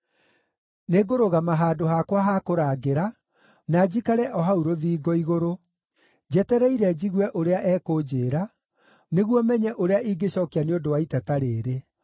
Nĩngũrũgama handũ hakwa ha kũrangĩra, na njikare o hau rũthingo igũrũ. Njetereire njigue ũrĩa ekũnjĩĩra, nĩguo menye ũrĩa ingĩcookia nĩ ũndũ wa iteta rĩĩrĩ.